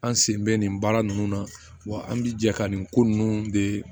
An sen bɛ nin baara ninnu na wa an bɛ jɛ ka nin ko ninnu de